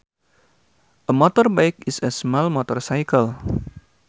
A motorbike is a small motorcycle